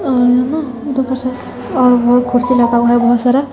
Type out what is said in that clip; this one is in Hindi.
और वो कुर्सी लगा हुआ है बहोत सारा।